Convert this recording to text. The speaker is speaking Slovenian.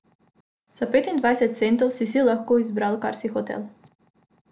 Za petindvajset centov si si lahko izbral, kar si hotel.